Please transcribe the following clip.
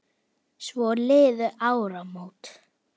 Svo liðu áramót.